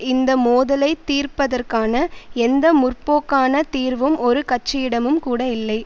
இந்த மோதலை தீர்ப்பதற்கான எந்த முற்போக்கான தீர்வும் ஒரு கட்சியிடமும் கூட இல்லை